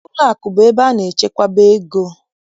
Ụlọakụ bụ ebe a na-echekwaba ego